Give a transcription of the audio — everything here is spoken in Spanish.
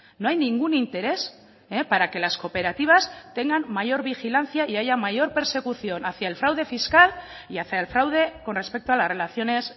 no hay ningún interés para que las cooperativas tengan mayor vigilancia y haya mayor persecución hacia el fraude fiscal y hacia el fraude con respecto a las relaciones